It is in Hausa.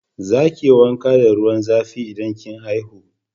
Za ki yi wanka da ruwan zafi in kin haihu